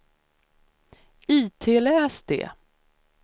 itläs det